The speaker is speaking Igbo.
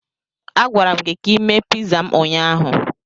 A gwara m gị ka ị mee piza m ụnyaahụ.